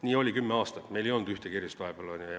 Nii oli kümme aastat, meil ei olnud vahepeal ühtegi erandit.